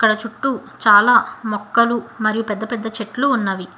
అక్కడ చుట్టూ చాలా మొక్కలు మరియు పెద్దపెద్ద చెట్లు ఉన్నవి.